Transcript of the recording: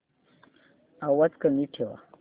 आवाज कमी ठेवा